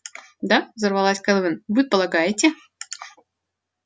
да взорвалась кэлвин вы полагаете